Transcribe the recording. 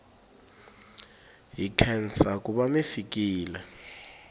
hi nkhensa kuva mifikile